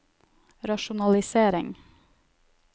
rasjonalisering